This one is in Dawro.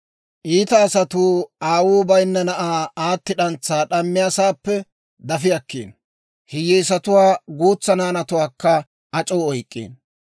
«Iita asatuu aawuu bayinna na'aa aatti d'antsaa d'ammiyaasaappe dafi akkiino; hiyyeesatuwaa guutsa naanatuwaakka ac'oo oyk'k'iino.